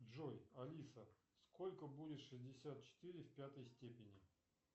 джой алиса сколько будет шестьдесят четыре в пятой степени